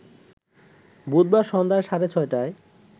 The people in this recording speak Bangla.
বুধবার সন্ধ্যা সাড়ে ছয়টায়